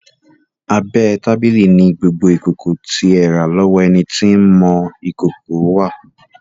Abẹ́ tábìlì ni gbogbo ìkòkò tí ẹ rà lọ́wọ́ ẹni tí ń mọ ìkòkò wà.